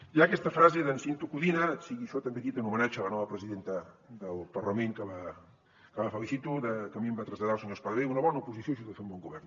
hi ha aquesta frase d’en cinto codina sigui això també dit en homenatge a la nova presidenta del parlament que la felicito que a mi em va traslladar el senyor espadaler una bona oposició ajuda a fer un bon govern